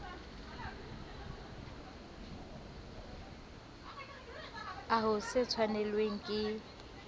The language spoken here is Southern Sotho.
a ho se tshwanelwe ke